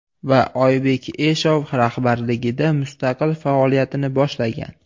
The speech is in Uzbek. Va Oybek Eshov rahbarligida mustaqil faoliyatini boshlagan.